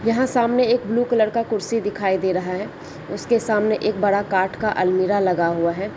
यह सामने एक ब्लू कलर का कुर्सी दिखाई दे रहा है उसके सामने एक बड़ा काठ का अलमीरा लगा हुआ है।